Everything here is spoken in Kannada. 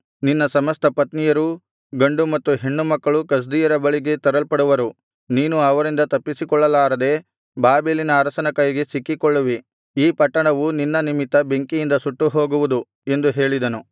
ನಿನ್ನ ಸಮಸ್ತ ಪತ್ನಿಯರೂ ಗಂಡು ಮತ್ತು ಹೆಣ್ಣುಮಕ್ಕಳು ಕಸ್ದೀಯರ ಬಳಿಗೆ ತರಲ್ಪಡುವರು ನೀನೂ ಅವರಿಂದ ತಪ್ಪಿಸಿಕೊಳ್ಳಲಾರದೆ ಬಾಬೆಲಿನ ಅರಸನ ಕೈಗೆ ಸಿಕ್ಕಿಕೊಳ್ಳುವಿ ಈ ಪಟ್ಟಣವು ನಿನ್ನ ನಿಮಿತ್ತ ಬೆಂಕಿಯಿಂದ ಸುಟ್ಟುಹೋಗುವುದು ಎಂದು ಹೇಳಿದನು